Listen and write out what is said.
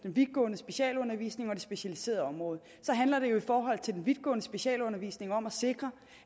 den vidtgående specialundervisning og det specialiserede område handler det jo i forhold til den vidtgående specialundervisning om at sikre